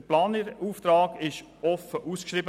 Der Planerauftrag wurde offen ausgeschrieben.